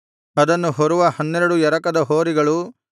ಅದನ್ನು ಹೊರುವ ಹನ್ನೆರಡು ಎರಕದ ಹೋರಿಗಳು